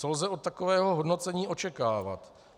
Co lze od takového hodnocení očekávat?